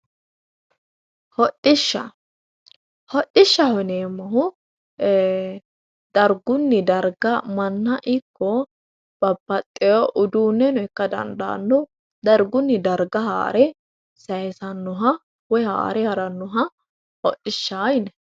Hodhishsha, hodhishshaho yineemmohu ee dargunni darga manna ikko babbaxeyo uduuneno ikka dandaano dargunni darga haare saysanoha woyi haare ha'ranoha hodhishsha yinnanni.